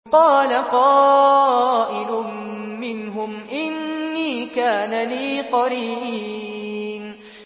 قَالَ قَائِلٌ مِّنْهُمْ إِنِّي كَانَ لِي قَرِينٌ